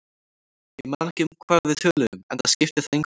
Ég man ekki um hvað við töluðum, enda skipti það engu máli.